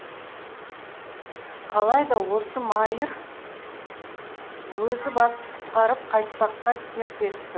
қалай да осы майыр өзі басып құтқарып қайтпаққа серт етті